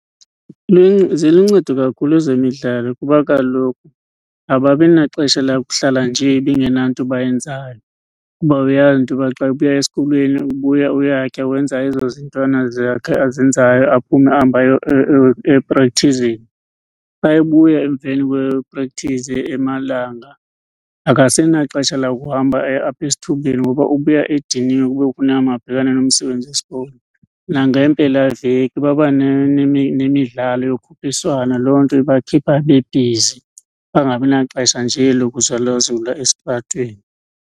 Ziluncedo kakhulu ezemidlalo kuba kaloku ababi naxesha lakuhlala nje bengenanto bayenzayo. Kuba uyazi into yoba xa ebuya esikolweni ubuya uyatya, wenza ezo zintwana zakhe azenzayo, aphume ahambe eprekthizini. Xa ebuya emveni kweprekthizi emalanga akasenaxesha lakuhamba aye apha esithubeni ngoba ubuya ediniwe kube kufuneke uba abhekane nomsebenzi wesikolo. Nangeempelaveki baba nemidlalo yokhuphiswano loo nto ibakhipha bebhizi bangabi naxesha nje lokuzulazula estratweni.